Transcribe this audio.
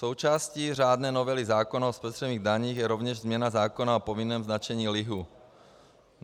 Součástí řádné novely zákona o spotřebních daních je rovněž změna zákona o povinném značení lihu.